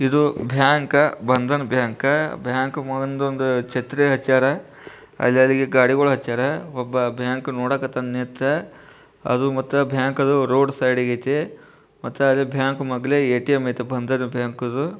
ಇದು bank Bandhan bank . Bank ಮುಂದೆ ಒಂದು ಛತ್ರಿ ಹಚ್ಚರ ಅದೇ ರೀತಿ ಗಾಡಿಗಳ ಹಚ್ಚರ ಒಬ್ಬ ಬ್ಯಾಂಕ್ ನೋಡಾಕತ್ತಾನ ನಿಂತ ಹಾಗು ಮತ್ತೆ ಬ್ಯಾಂಕ್ ಅದು ರೋಡ್ ಸೈಡ್ಗೆ ಐಯ್ತೆ ಮತ್ತೆ ಅದೇ ಬ್ಯಾಂಕ್ ಮೊದಲೇ ಎ.ಟಿ.ಎಂ. ಐತೆ ಬಂಧನ್ ಬ್ಯಾಂಕ್ ದು.